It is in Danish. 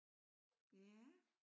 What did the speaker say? Ja